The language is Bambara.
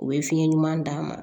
U bɛ fiɲɛ ɲuman d'a ma